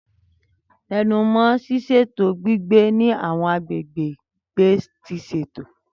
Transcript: Tẹnu mọ́ ṣíṣètò gbígbé ní àwọn agbègbè ìgbé tí wọ́n ṣètò.